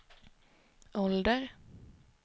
ålder